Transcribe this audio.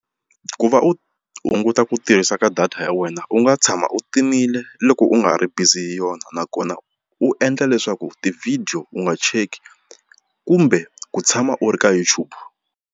Ku va u hunguta ku tirhisa ka data ya wena u nga tshama u timile loko u nga ha ri bizi yona nakona u endla leswaku ti-video u nga cheki kumbe ku tshama u ri ka YouTube.